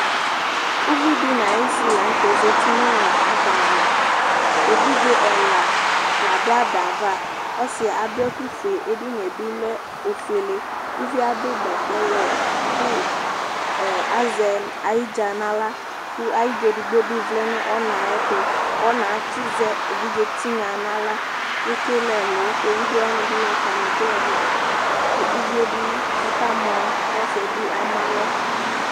uvidi nayisi laŋtɛ zeti nu adava evidze ɛla laduadava ɔsi aduɛku fue edinie bilɛ ofuele, uvie adu bɛtɛ wɛ ku azɛ ayidza naɣrla, ku ayidza edigbo bi vlɛ nu ɔna yɛ tu, kɔna tsi zɛ evidze tinya naɣrla kekelɛlu kevidzewanibi nu tamekelɛlu ku uvie bi ɔkamɔ kɔ siɛbi amalɔ